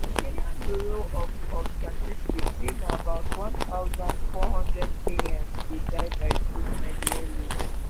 di kenya bureau of of statistics say na about 1400 kenyans dey die by suicide yearly.